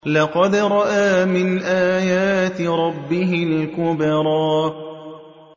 لَقَدْ رَأَىٰ مِنْ آيَاتِ رَبِّهِ الْكُبْرَىٰ